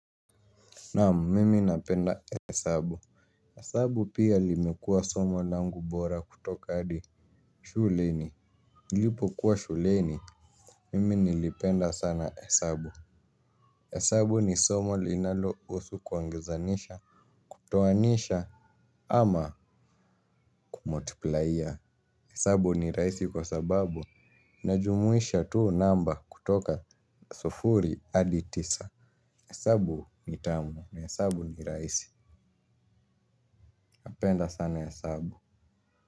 Naam mimi napenda hesabu. Hesabu pia limekua somo langu bora kutoka adi shuleni. Nilipo kuwa shuleni mimi nilipenda sana hesabu. Hesabu ni somo linalo usu kuongezanisha. Toanisha ama kumotiplaia. Hesabu ni raisi kwa sababu najumuisha tu namba kutoka sufuri adi tisa. Hesabu nitamu na hesabu ni raisi. Napenda sana hesabu.